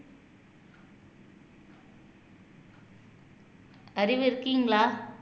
அறிவு இருக்கீங்களா